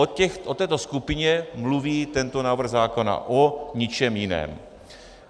O této skupině mluví tento návrh zákona, o ničem jiném.